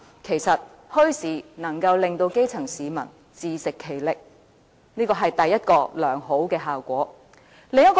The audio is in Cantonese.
其實，墟市能夠令基層市民自食其力，這是第一個良好效果。